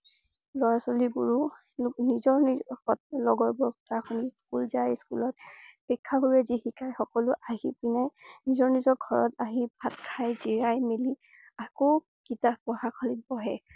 লৰা ছোৱালী বোৰো নিজৰ নিজৰ~লগৰ বোৰক স্কুল জাই স্কুলত শিক্ষা গুৰুৱে জী শিকাই সকলো আহি পিনে নিজৰ নিজৰ ঘৰত আহি ভাত খাই জিৰাই মেলি আকৌ কিতাৱ পঢ়শালিত বহে।